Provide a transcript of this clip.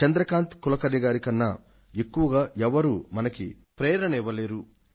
చంద్రకాంత్ కులకర్ణి గారి కన్నా ఎక్కువగా ఎవ్వరూ మనకి ప్రేరణ ఇవ్వలేరు